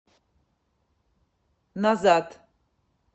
назад